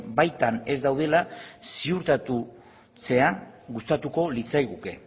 baitan ez daudela ziurtatzea gustatuko litzaiguke